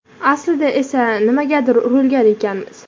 Aslida esa nimagadir urilgan ekanmiz.